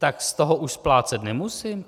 Tak z toho už splácet nemusím?